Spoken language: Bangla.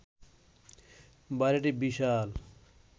বাড়িটি বিশাল